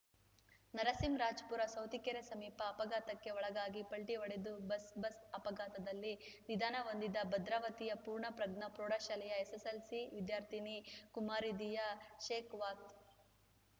ನರಸಿಂಹರಾಜಪುರ ಸೌತಿಕೆರೆ ಸಮೀಪ ಅಪಘಾತಕ್ಕೆ ಒಳಗಾಗಿ ಪಲ್ಟಿಹೊಡೆದ ಬಸ್‌ ಬಸ್‌ ಅಪಘಾತದಲ್ಲಿ ನಿಧನ ಹೊಂದಿದ ಭದ್ರಾವತಿಯ ಪೂರ್ಣ ಪ್ರಜ್ಞಾ ಪ್ರೌಢ ಶಾಲೆಯ ಎಸ್‌ಎಸ್‌ಎಲ್‌ಸಿ ವಿದ್ಯಾರ್ಥಿನಿ ಕುಮಾರಿ ದಿಯಾ ಶೇಕಾವತ್‌